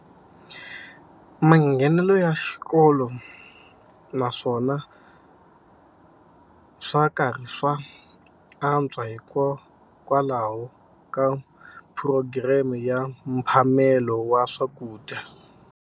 Manghenelo ya xikolo naswona swa karhi swa antswa hikokwalaho ka phurogireme ya mphamelo wa swakudya.